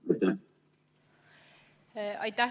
Aitäh!